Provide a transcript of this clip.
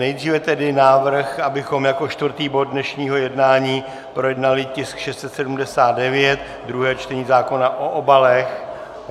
Nejdříve tedy návrh, abychom jako čtvrtý bod dnešního jednání projednali tisk 679, druhé čtení zákona o obalech.